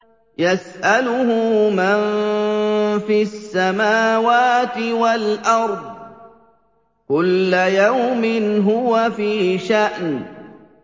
يَسْأَلُهُ مَن فِي السَّمَاوَاتِ وَالْأَرْضِ ۚ كُلَّ يَوْمٍ هُوَ فِي شَأْنٍ